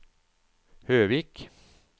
Høvik